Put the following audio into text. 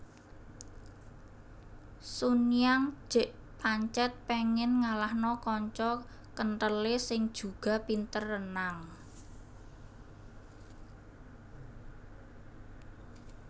Sun Yang jek pancet pengen ngalahno kanca kenthele sing juga pinter renang